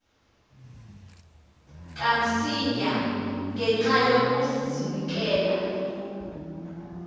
kamsinya ngenxa yokazinikela